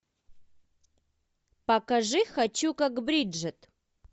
покажи хочу как бриджит